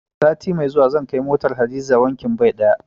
Sati mai zuwa zan kai motar Hadiza wankin bai ɗaya.